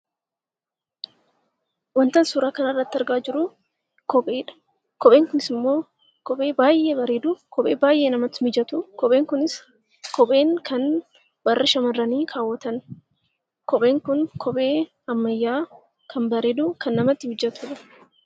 Wanta suuraa kanarratti argaa jiru kopheedha. Kopheen kunis immoo kophee baay'ee bareeduuf kophee baay'ee namatti mijatu!. Kopheen kunis kopheen kan warri shamarranii kaawwatan. Kopheen kun kophee ammayyaa, kan bareedu! Kan namatti mijatudha.